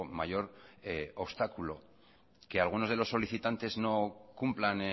mayor obstáculo que algunos de los solicitantes no cumplan